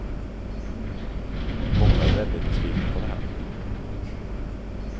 Många är väldigt besvikna på det här.